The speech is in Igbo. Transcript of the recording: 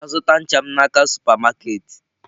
M ga-azụta ncha m n'aka super market.